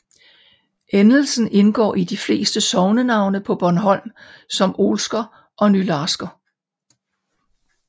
Endelsen indgår i de fleste sognenavne på Bornholm som Olsker og Nylarsker